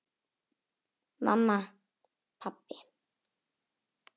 Mamma. pabbi.